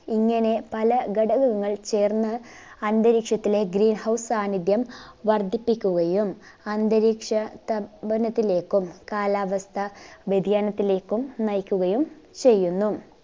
ഇങ്ങനെ പല ഘടകങ്ങൾ ചേർന്ന് അന്തരീക്ഷത്തിലെ green house സാന്നിദ്ധ്യം വർധിപ്പിക്കുകയും അന്തരീക്ഷ താപനത്തിലേക്കും കാലാവസ്ഥ വ്യതിയാനത്തിലേക്കും നയിക്കുകയും ചെയ്യുന്നു